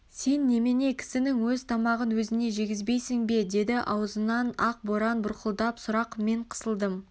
сен немене кісінің өз тамағын өзіне жегізбейсің бе деді аузынан ақ боран бұрқылдап сұрақ мен қысылдым